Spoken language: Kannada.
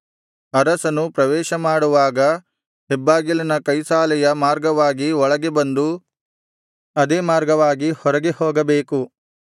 ಅರಸನು ಪ್ರವೇಶ ಮಾಡುವಾಗ ಹೆಬ್ಬಾಗಿಲಿನ ಕೈಸಾಲೆಯ ಮಾರ್ಗವಾಗಿ ಒಳಗೆ ಬಂದು ಅದೇ ಮಾರ್ಗವಾಗಿ ಹೊರಗೆ ಹೋಗಬೇಕು